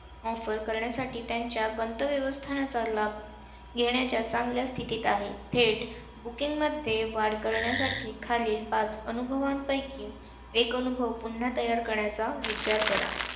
offer करण्यासाठी त्यांच्या गंतव्यस्थानाचा लाभ घेण्याच्या चांगल्या स्थितीत आहे. थेट booking मध्ये वाढ करण्यासाठी खालील पाच अनुभवांपैकी एक अनुभव पुन्हा तयार करण्याचा विचार करा.